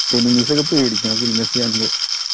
enemies ഒക്കെ പേടിക്കണം